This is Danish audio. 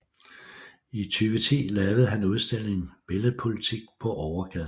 I 2010 lavede han udstillingen Billed Politik på Overgaden